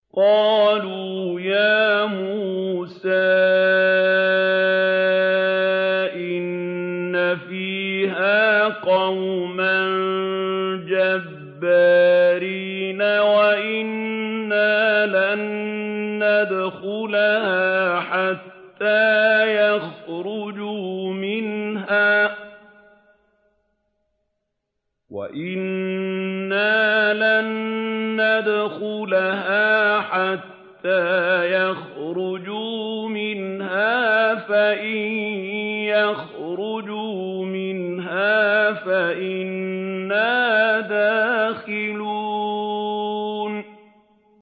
قَالُوا يَا مُوسَىٰ إِنَّ فِيهَا قَوْمًا جَبَّارِينَ وَإِنَّا لَن نَّدْخُلَهَا حَتَّىٰ يَخْرُجُوا مِنْهَا فَإِن يَخْرُجُوا مِنْهَا فَإِنَّا دَاخِلُونَ